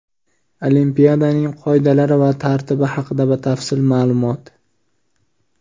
Olimpiadaning qoidalari va tartibi haqida batafsil ma’lumot.